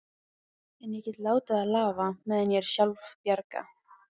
En ég get látið það lafa, meðan ég er sjálfbjarga.